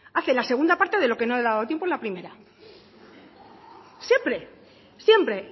hace la segunda parte de lo que no le ha dado tiempo en la primera siempre siempre